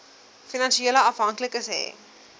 finansiële afhanklikes hê